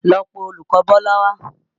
Lọ pe olùkọ̀ Bọ́lá wá!